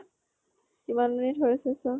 কিমান minute হৈছে চা